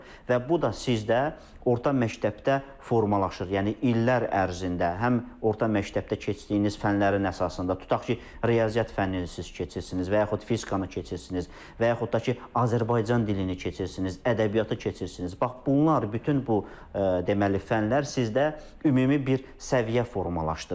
Və bu da sizdə orta məktəbdə formalaşır, yəni illər ərzində həm orta məktəbdə keçdiyiniz fənlərin əsasında, tutaq ki, riyaziyyat fənnini siz keçirsiniz və yaxud fizikanı keçirsiniz və yaxud da ki, Azərbaycan dilini keçirsiniz, ədəbiyyatı keçirsiniz, bax bunlar bütün bu deməli fənlər sizdə ümumi bir səviyyə formalaşdırır.